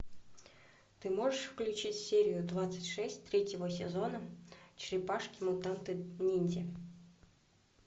ты можешь включить серию двадцать шесть третьего сезона черепашки мутанты ниндзя